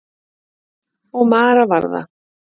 Og Mara var það.